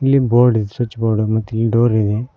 ಇಲ್ಲಿ board switch board ಮತ್ತಿಲ್ಲಿ door ಇದೆ.